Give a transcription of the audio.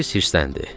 Polis hirsləndi.